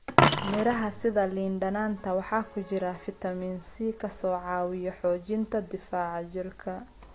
Miraha sida liin dhanaanta waxaa ku jira fitamiin C kaaso caawiya xoojinta difaaca jirka.